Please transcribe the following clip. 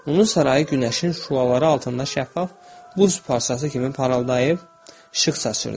Onun sarayı günəşin şüaları altında şəffaf buz parçası kimi parıldayıb, işıq saçdırdı.